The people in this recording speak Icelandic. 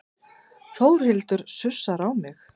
Þórhildur sussar á mig.